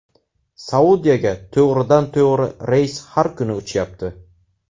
Saudiyaga to‘g‘ridan-to‘g‘ri reys har kuni uchyapti.